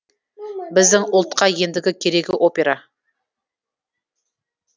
біздің ұлтқа ендігі керегі опера